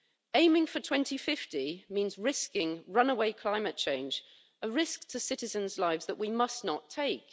Aiming for 2050 means risking runaway climate change, a risk to citizens' lives that we must not take.